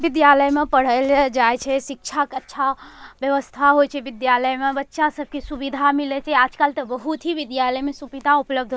विद्यालय में पढ़े ले जाए छे शिक्षा के अच्छा व्यवस्था होई छे। विधालय में बच्चा सब के सुविधा मिलै छे। आजकल त बहुत ही विद्यालय में सुविधा उपलब्ध --